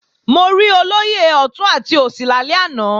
Mo rí olóyè ọ̀tún àti òsì lálẹ́ àná